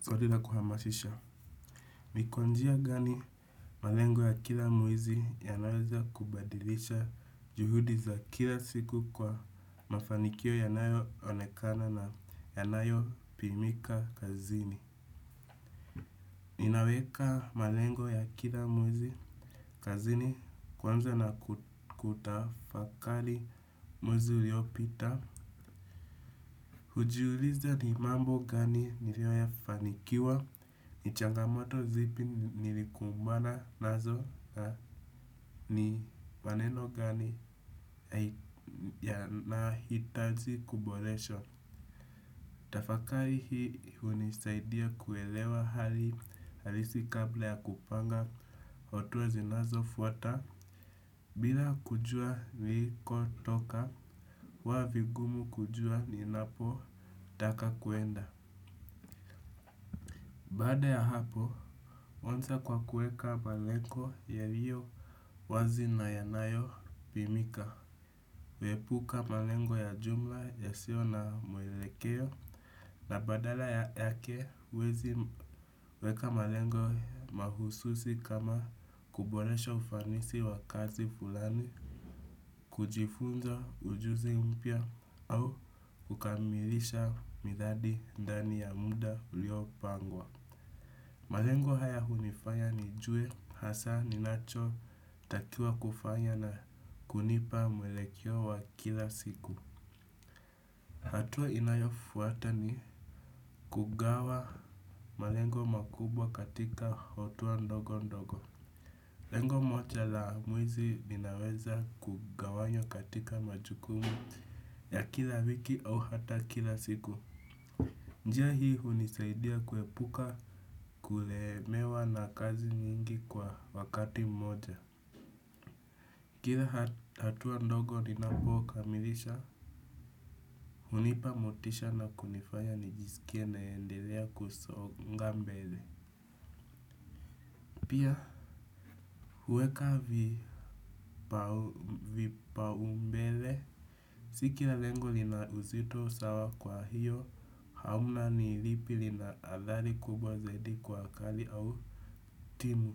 Zodila kuhamashisha. Nikwanjia gani malengo ya kila mwezi ya naweza kubadilisha juhudi za kila siku kwa mafanikio ya nayo onekana na ya nayo pimika kazini. Ninaweka malengo ya kila mwezi kazini kwanza na kutafakali mwezi uliopita. Ujiuliza ni mambo gani nilio ya fanikiwa, ni changamoto zipi nilikumbana nazo na ni maneno gani ya nahitaji kuboleshwa. Tafakari hii unisaidia kuelewa hali halisi kabla ya kupanga otuwa zinazo fuata. Bila kujua niliko toka, huwavigumu kujua ni napo taka kuenda. Baada ya hapo, onta kwa kueka malengo yalio wazi na yanayo pimika. Wepuka malengo ya jumla ya sio na mwelekeo na badala yake huwezi weka malengo mahususi kama kuboresha ufanisi wa kazi fulani, kujifunza ujuzi mpya au kukamilisha midhadi ndani ya muda ulio pangwa. Malengo haya hunifanya nijue hasa ninacho takiwa kufanya na kunipa mwelekeo wa kila siku. Hatuwa inayofuata ni kugawa malengo makubwa katika hotua ndogo ndogo. Lengo moja la mwezi linaweza kugawanywa katika majukumu ya kila wiki au hata kila siku. Njia hii hunisaidia kuepuka kulemewa na kazi nyingi kwa wakati mmoja. Kila hatua ndogo ninapoka milisha. Hunipa motisha na kunifanya nijisikie naendelea kusonga mbele. Pia huweka vipaumbele. Sikila lengo linauzito sawa kwa hiyo. Hauna nilipi linaadhali kubwa zaidi kwa akali au timu.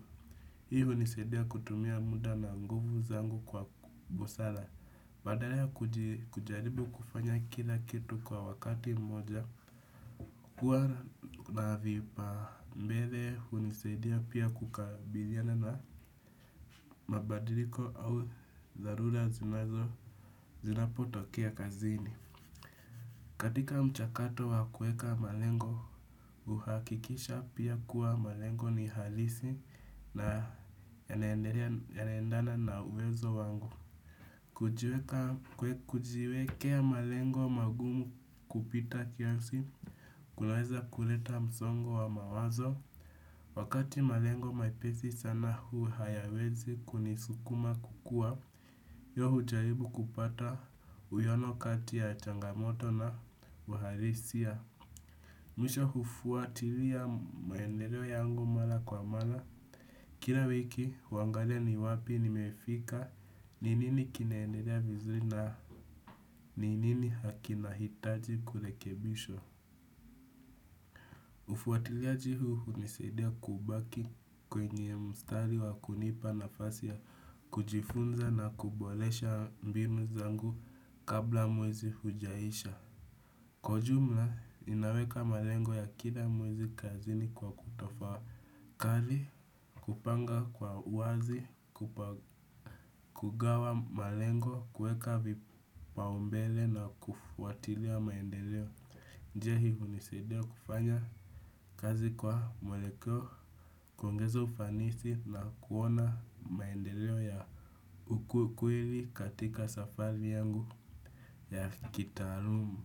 Hii unisaidia kutumia muda na nguvu zangu kwa busala. Badala ya kujaribu kufanya kila kitu kwa wakati mmoja huwa na vipa mbele unisaidia pia kukabiliana na mabadiliko au dharura zinazo zinapotokea kazini. Katika mchakato wa kueka malengo, uhakikisha pia kuwa malengo ni halisi na yanaendana na uwezo wangu. Kujiwekea malengo magumu kupita kiasi, kunaweza kuleta msongo wa mawazo. Wakati malengo mepesi sana huu hayawezi kunisukuma kukua. Yohu jaibu kupata uyonokati ya changamoto na waharisia. Mwisho hufuatilia muendereo yangu mala kwa mala. Kila wiki, huangalia ni wapi ni mefika, ninini kinaendelea vizuri na ninini hakinahitaji kulekebishwa. Ufuatiliaji huu unisadia kubaki kwenye mstari wa kunipa na fasi ya kujifunza na kubolesha mbinu zangu kabla mwezi hujaisha. Kwa ujumla, inaweka malengo ya kila mwezi kazini kwa kutofa kari, kupanga kwa uwazi, kugawa malengo, kueka vipaumbele na kufuatilia maendeleo. Njia hii hunisaidia kufanya kazi kwa mwelekeo, kuongeza ufanisi na kuona maendeleo ya ukukwiri katika safari yangu ya kitarumu.